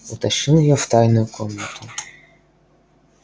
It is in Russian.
утащил её в тайную комнату